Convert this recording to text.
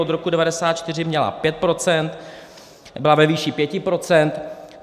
Od roku 1994 měla 5 procent, byla ve výši 5 procent.